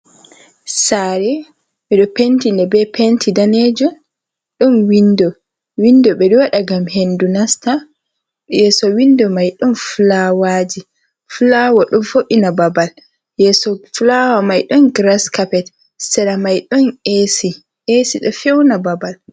Sare ɓeɗo penti nde be penti danejum. Ɗon windo, windo ɓeɗo waɗa ngam hendu nasta. Yeso windo mai don fulawaji, fulawa ɗon vo'ina babal. Yeso fulawa mai don grass capet. Sera mai ɗon esi, esi ɗo feuna babal.